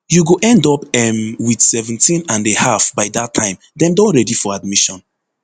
you go end up um wit seventeen and a half by dat time dem don ready for admission